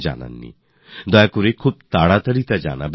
অনুগ্রহ করে আপনি এটা তাড়াতাড়ি করুন